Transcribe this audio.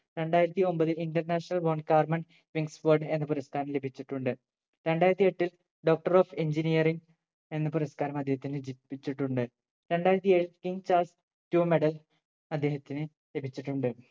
രണ്ടായിരത്തി ഒമ്പതിൽ International von karman wings word എന്ന പുരസ്ക്കാരം ലഭിച്ചിട്ടുണ്ട് രണ്ടായിരത്തി എട്ടിൽ Doctor of engineering എന്ന പുരസ്ക്കാരം അദ്ദേഹത്തിന് ലഭിച്ചിട്ടുണ്ട് രണ്ടായിരത്തി ഏഴ് king charles two medal അദ്ദേഹത്തിന് ലഭിച്ചിട്ടുണ്ട്